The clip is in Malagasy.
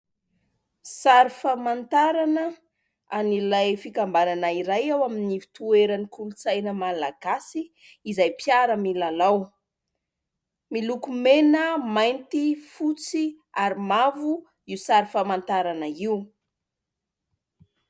Sary famantarana an'ilay fikambanana iray ao amin'ny fitoeran'ny kolotsaina Malagasy izay mpiara-milalao, miloko mena, mainty, fotsy ary mavo io sary famantarana io.